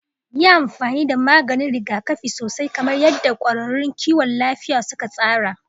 Yi amfani da maganin rigakafi sosai kamar yadda kwararrun kiwon lafiya suka tsara.